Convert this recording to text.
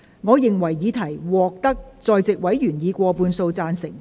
我認為議題獲得在席委員以過半數贊成。